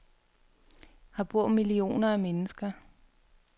Her bor millioner af mennesker.